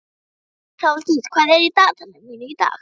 Hrólfdís, hvað er í dagatalinu mínu í dag?